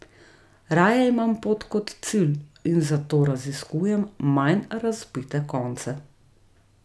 Raje imam pot kot cilj in zato raziskujem manj razvpite konce.